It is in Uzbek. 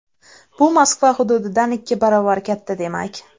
Bu Moskva hududidan ikki barobar katta demak.